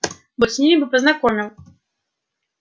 вот с ними бы познакомил